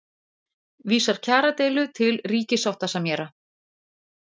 Vísar kjaradeilu til ríkissáttasemjara